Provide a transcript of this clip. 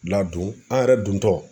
Ladon an yɛrɛ dontɔ.